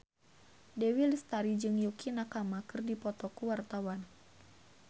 Dewi Lestari jeung Yukie Nakama keur dipoto ku wartawan